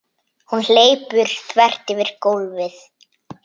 Hún hleypur þvert yfir gólfið.